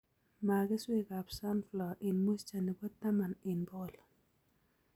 Maa keswekab sunflower eng moisture nebo taman eng bokol